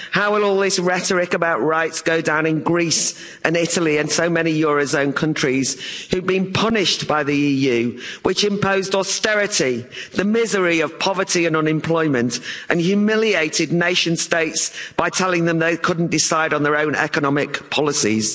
How will all this rhetoric about rights go down in Greece and Italy and so many eurozone countries which have been punished by the EU, which imposed austerity, the misery of poverty and unemployment, and humiliated nation states by telling them they couldn't decide on their own economic policies?